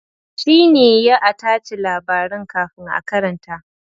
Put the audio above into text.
Shi ne ya a tace labaran kafin a karanta.